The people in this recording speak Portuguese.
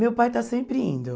Meu pai está sempre indo.